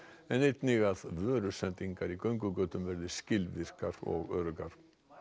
en einnig að vörusendingar í göngugötunum verði skilvirkar og öruggar